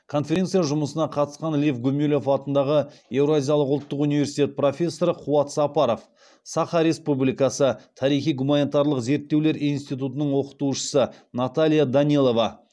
конференция жұмысына қатысқан лев гумилев атындағы евразиялық ұлттық университет профессоры қуат сапаров саха республикасы тарихи гуманитарлық зерттеулер институтының оқытушысы наталия данилова